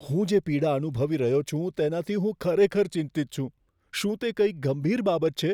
હું જે પીડા અનુભવી રહ્યો છું, તેનાથી હું ખરેખર ચિંતિત છું. શું તે કંઈક ગંભીર બાબત છે?